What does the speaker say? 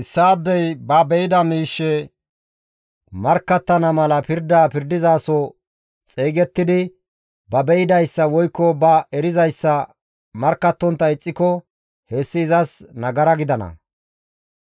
«Issaadey ba be7ida miishshe markkattana mala pirda pirdizaso xeygettidi ba be7idayssa woykko ba erizayssa markkattontta ixxiko hessi izas nagara gidana;